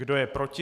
Kdo je proti?